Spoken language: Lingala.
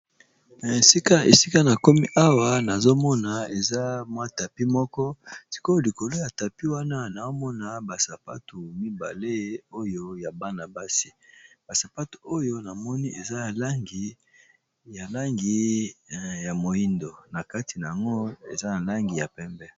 Esika nakomi awa nazomona tapis moko likolo nango nazomona sapato ya bana basi eza na langi ya moyindo na kati eza na langi ya pembe.